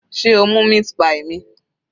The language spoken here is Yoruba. Sé o mú meat pie mi?